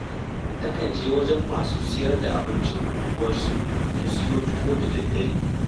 Takan je wajen masu sayar da abincin unguwarsu ta siyo tuwo da daddare